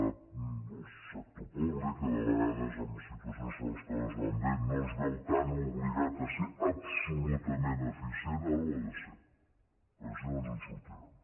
el sector públic que de vegades en situacions que les coses van bé no es veu tan obligat a ser absolutament eficient ara ho ha de ser perquè si no no ens en sortirem